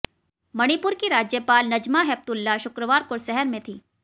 मणिपुर की राज्यपाल नजमा हेपतुल्ला शुक्रवार को शहर में थीं